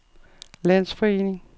landsforening